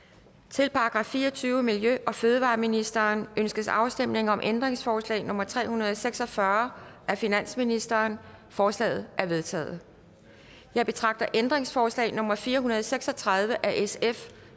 til § fireogtyvende miljø og fødevareministeriet ønskes afstemning om ændringsforslag nummer tre hundrede og seks og fyrre af finansministeren forslaget er vedtaget jeg betragter ændringsforslag nummer fire hundrede og seks og tredive af sf